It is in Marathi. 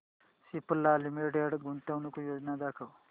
सिप्ला लिमिटेड गुंतवणूक योजना दाखव